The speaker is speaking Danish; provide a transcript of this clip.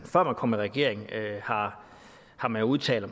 kom i regering har har man udtalt at